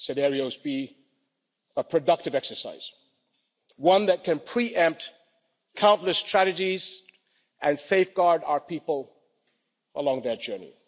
scenarios be a productive exercise, one that can pre empt countless tragedies and safeguard our people along their journey.